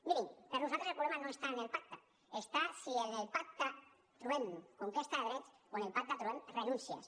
mirin per nosaltres el problema no està en el pacte està en si en el pacte trobem conquesta de drets o en el pacte trobem renúncies